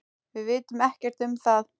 Við vitum ekkert um það.